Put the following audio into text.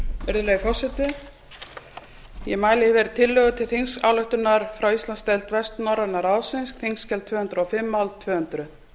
virðulegi forseti ég mæli hér fyrir tillögu til þingsályktunar frá íslandsdeild vestnorræna ráðsins þingskjali tvö hundruð og fimm mál tvö hundruð